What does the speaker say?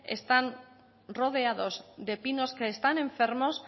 están rodeados de pinos que están enfermos